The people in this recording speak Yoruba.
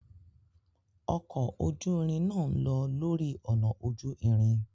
Ọkọ oju irin náa n lọ lori ọna oju-irin.